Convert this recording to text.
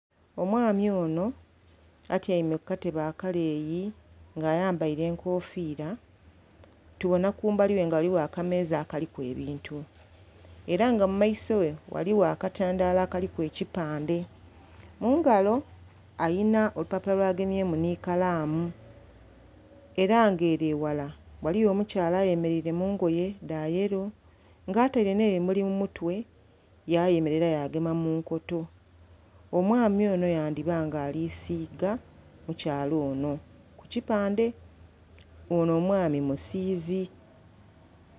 Omwami ono atyaime kukatebe akaleeyi nga ayambaire enkofira tubona kumbali ghe nga ghaligho akameeza akaliku ebintu era nga mumaiso ghe ghaligho akatandhalo akaliku ekipandhe . Mungalo alina olupapulo lwagemye mu ni kalamu era nga ere eghala ghaligho omukyala ayemereire mungoye dha yello nga ataire n'ebimuli mumutwe yayemerera yagema munkoto. Omwami ono yandhiba nga alisiga mukyala ono kukipandhe nga ono omwami musiizi.